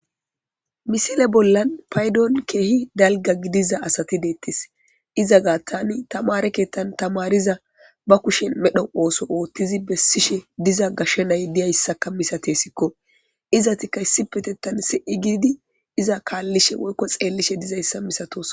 Missile bolan paydon kehi dalga gidiza asati detes iza gatan tamare kethan tamariza ba kushe medho oso othizi besishe diza gashe na'ay diyaysaka misateskko izatika issipetetan si'i gidi iza kalishe woyko xelishe dizaysa misatosona.